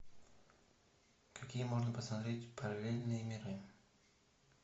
какие можно посмотреть параллельные миры